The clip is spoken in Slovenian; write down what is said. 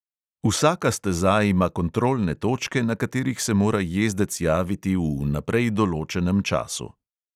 Vsaka steza ima kontrolne točke, na katerih se mora jezdec javiti v vnaprej določenem času.